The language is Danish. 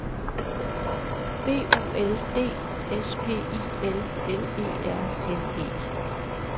B O L D S P I L L E R N E